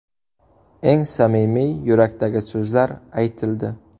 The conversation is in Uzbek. Eng samimiy, yurakdagi so‘zlar aytildi.